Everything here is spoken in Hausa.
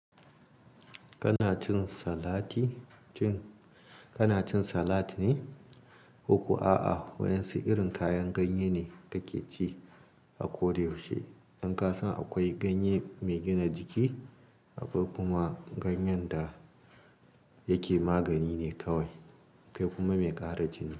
Kana cin salati? Shin kana cin salad ne? Koko a'a, waɗansu irin kayan ganye ne kake ci a koda yaushe. Don ka san akwai ganye mai gina jiki, akwai kuma ganyen da yake magani ne kawai, se kuma mai ƙara jini.